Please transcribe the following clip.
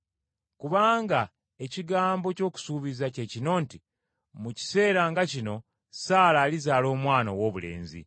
Kubanga ekigambo ky’okusuubiza kye kino nti, “Mu kiseera nga kino Saala alizaala omwana owoobulenzi.”